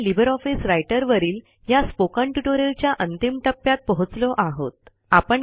आपण LibreOffice writer वरील ह्या स्पोकन ट्युटोरियलच्या अंतिम टप्प्यात पोहोचलो आहोत